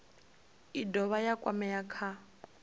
i dovha ya kwamea kha